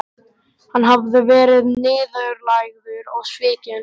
Hann hafði verið niðurlægður og svikinn.